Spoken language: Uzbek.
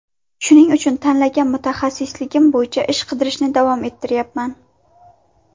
Shuning uchun tanlagan mutaxassisligim bo‘yicha ish qidirishni davom ettirayapman”.